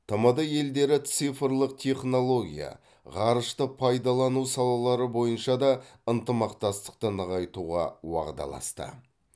тмд елдері цифрлық технология ғарышты пайдалану салалары бойынша да ынтымақтастықты нығайтуға уағдаласты